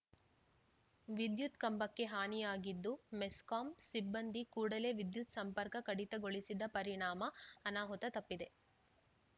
ವಿದ್ಯುತ್‌ ಕಂಬಕ್ಕೆ ಹಾನಿಯಾಗಿದ್ದು ಮೆಸ್ಕಾಂ ಸಿಬ್ಬಂದಿ ಕೂಡಲೇ ವಿದ್ಯತ್‌ ಸಂಪರ್ಕ ಕಡಿತಗೊಳಿಸಿದ ಪರಿಣಾಮ ಅನಾಹುತ ತಪ್ಪಿದೆ